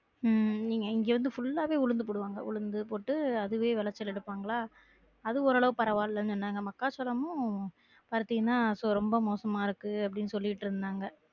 உம் இங்க வந்து full ஆவே உளுந்து போடுவாங்க உளுந்து போட்டு அதுலயே விளைச்சல் எடுப்பாங்கலா அது ஓரளவு பரவா இல்லன்னு சொன்னாங்க மக்காச்சோளமும் பருத்தியும் தான் ரொம்ப மோசமா இருக்கு அப்படின்னு சொல்லிட்டு இருந்தாங்க